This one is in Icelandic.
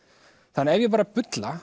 þannig að ef ég bara bulla